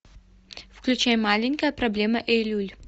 включай маленькая проблема эйлюль